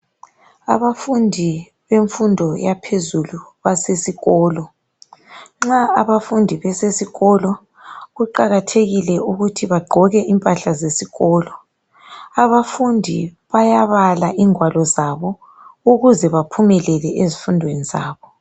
Abafundi bemfundo yaphezulu basesikolo .Nxa abafundi besesikolo kuqakathekile ukuthi bagqoke impahla zesikolo. Abafundi bayabala ingwalo zabo ukuze baphumelele ezifundweni zabo.